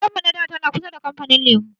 Gidan mu na da tana kusa da kamfanin lemu